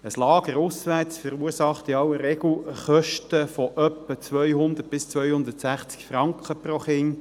Ein Lager auswärts verursacht in aller Regel Kosten von etwa 200 bis 260 Franken pro Kind.